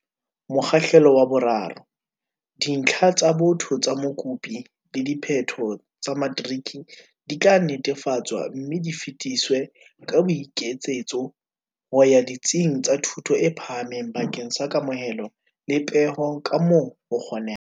Mokgahlelo wa 3. Dintlha tsa botho tsa mokopi le diphetho tsa matriki di tla netefatswa mme di fetiswe ka boiketsetso ho ya ditsing tsa thuto e phahameng bakeng sa kamohelo le peho kamoo ho kgonehang.